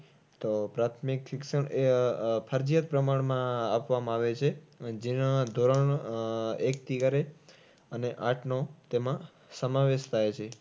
તો પ્રાથમિક શિક્ષણ એ આહ ફરજીયાત પ્રમાણમાં આપવામાં આવે છે. જેના ધોરણ આહ એકથી કરીને અને આઠ, નવ તેમાં સમાવેશ થાય છે.